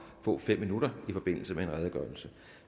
at få fem minutter i forbindelse med en redegørelse